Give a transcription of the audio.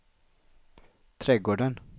trädgården